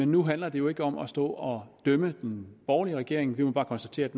nu handler det jo ikke om at stå og dømme den borgerlige regering vi må bare konstatere at